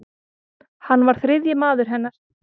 Hann var þriðji maður hennar.